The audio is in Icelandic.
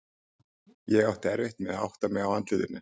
Ég átti erfitt með að átta mig á andlitinu.